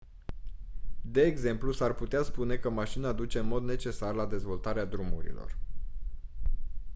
de exemplu s-ar putea spune că mașina duce în mod necesar la dezvoltarea drumurilor